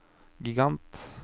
gigant